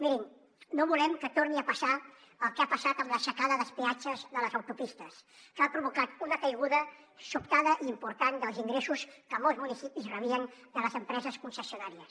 mirin no volem que torni a passar el que ha passat amb l’aixecada dels peatges de les autopistes que ha provocat una caiguda sobtada i important dels ingressos que molts municipis rebien de les empreses concessionàries